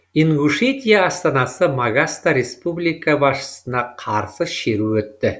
ингушетия астанасы магаста республика басшысына қарсы шеру өтті